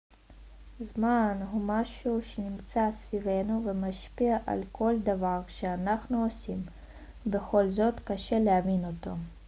זמן הוא משהו שנמצא סביבנו ומשפיע על כל דבר שאנחנו עושים ובכל זאת קשה להבין אותו